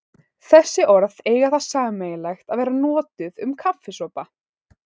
Þessi orð eiga það sameiginlegt að vera notuð um kaffisopa.